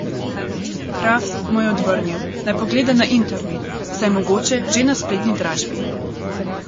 Kraft mu je odvrnil, naj pogleda na internet, saj je mogoče že na spletni dražbi.